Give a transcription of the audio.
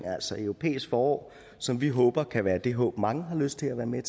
altså europæisk forår som vi håber kan være det håb mange har lyst til at være med